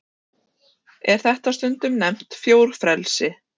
Er þetta stundum nefnt fjórfrelsi.